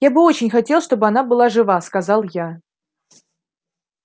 я бы очень хотел чтобы она была жива сказал я